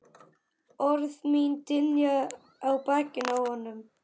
Orð mín dynja á bakinu á honum.